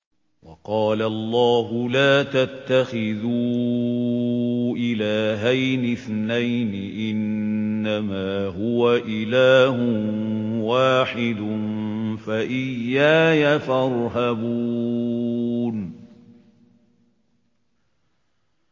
۞ وَقَالَ اللَّهُ لَا تَتَّخِذُوا إِلَٰهَيْنِ اثْنَيْنِ ۖ إِنَّمَا هُوَ إِلَٰهٌ وَاحِدٌ ۖ فَإِيَّايَ فَارْهَبُونِ